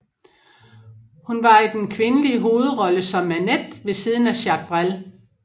Hun var i den kvindelige hovedrolle som Manette ved siden af Jacques Brel